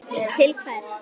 til hvers.